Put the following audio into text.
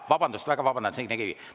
Vabandust, ma väga vabandan, Signe Kivi!